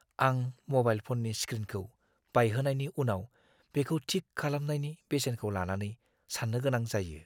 आं म'बाइल फ'ननि स्क्रिनखौ बायहोनायनि उनाव बेखौ थिक खालामनायनि बेसेनखौ लानानै साननो गोनां जायो।